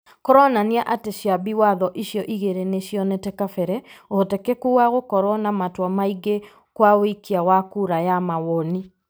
Kũronania atĩ ciambi watho icio igĩrĩ nĩ cionete kabere ũhotekeku wa gũkorwo na matua maingĩ kwa ũikia wa kura ya mawoni.